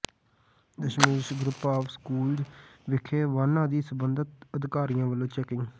Dasmesh group of schools ਵਿਖੇ ਵਾਹਨਾਂ ਦੀ ਸਬੰਧਿਤ ਅਧਿਕਾਰੀਆਂ ਵਲੋਂ ਚੈਕਿੰਗ